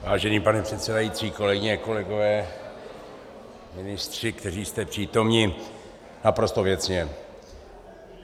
Vážený pane předsedající, kolegyně, kolegové, ministři, kteří jste přítomni , naprosto věcně.